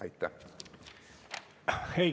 Aitäh!